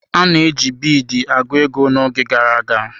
A na-eji biidi agụ ego n'oge gara aga.